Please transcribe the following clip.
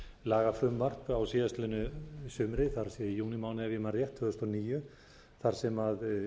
lagafrumvarp á síðastliðnu sumri það er í júnímánuði ef ég man rétt tvö þúsund og níu þar sem